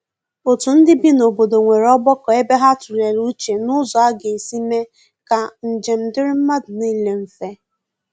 otu ndi bị n'obodo nwere ogbako ebe ha tulere uche n'ụzọ aga esi mee ka njem diri madu nile mfe.